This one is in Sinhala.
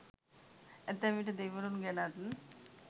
ඇතැම් විට දෙවිවරුන් ගැනත්